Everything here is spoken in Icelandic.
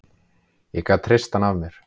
Ég gat hrist hann af mér.